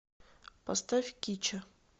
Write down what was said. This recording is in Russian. поставь кича